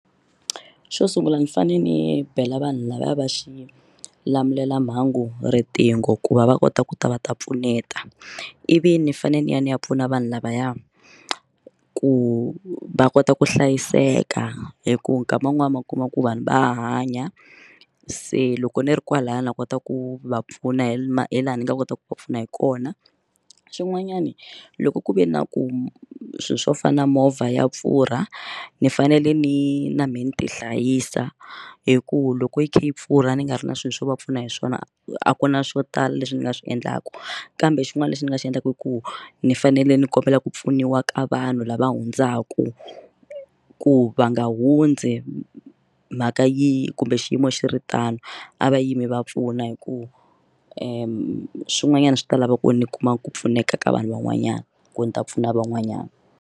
Xo sungula ni fane ni bela vanhu lavaya va xi lamulela mhangu riqingho ku va va kota ku ta va ta pfuneta ivi ni fanele ni ya ni ya pfuna vanhu lavaya ku va kota ku hlayiseka hikuva nkama wun'wani ma kuma ku vanhu va hanya se loko ni ri kwalaya na kota ku va pfuna hi ma hi laha ni nga kota ku va pfuna hi kona swin'wanyani loko ku ve na ku swilo swo fana na movha ya pfurha ni fanele ni na many ti hlayisa hi ku loko yi kha yi pfurha ni nga ri na swilo swo va pfuna hi swona a ku na swo tala leswi ni nga swi endlaka kambe xin'wana lexi ni nga xi endlaka i ku ni fanele ni kombela ku pfuniwa ka vanhu lava hundzaku ku va nga hundzi mhaka yo kumbe xiyimo xi ri tano a va yimi va pfuna hi ku endla swin'wanyana swi ta lava ku ni kuma ku pfuneka ka vanhu van'wanyana ku ni ta pfuna van'wanyana.